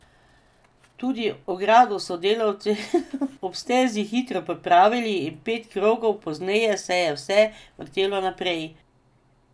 Tudi ogrado so delavci ob stezi hitro popravili in pet krogov pozneje se je vse vrtelo naprej.